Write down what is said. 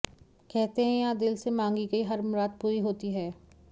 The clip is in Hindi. कहते हैं यहां दिल से मांगी गई हर मुराद पूरी होती है